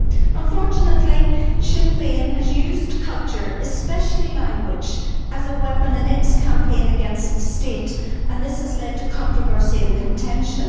Unfortunately, Sinn Fein has used culture especially language as a weapon in its campaign against the state, and this has led to controversy and contention.